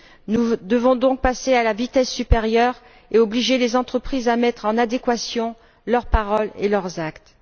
Nous devons donc passer à la vitesse supérieure et obliger les entreprises à mettre en adéquation leurs paroles et leurs actes.